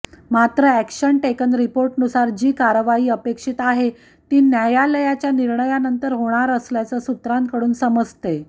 मात्र action taken रिपोर्टनुसार जी कारवाई अपेक्षित आहेत ती न्यायालयाच्या निर्णयानंतर होणार असल्याचं सूत्रांकडून समजतंय